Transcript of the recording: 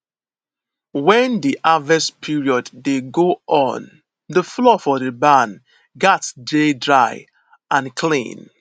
when di harvest period dey go on the floor for the barn gats dey dry and clean